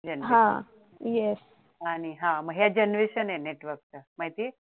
gen हा आणि हे generation आहे network च माहितीये